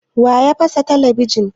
Wa ya fasa talabijin?